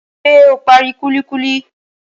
Ṣé o parí kúlíkúlí?